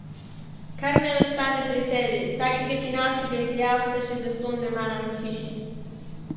Kar naj ostane pri tebi, takega hinavskega izdajalca še zastonj ne maram v hiši.